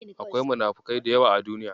Akwai munafukai da yawa a Duniya.